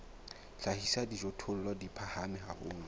hlahisa dijothollo di phahame haholo